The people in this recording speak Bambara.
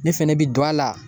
Ne fɛnɛ bi don a la